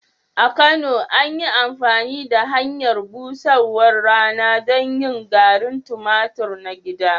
A Kano, an yi amfani da hanyar busarwar rana don yin garin tumatur na gida.